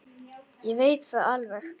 Ég veit það alveg.